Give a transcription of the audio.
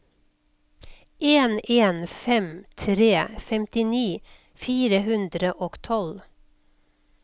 en en fem tre femtini fire hundre og tolv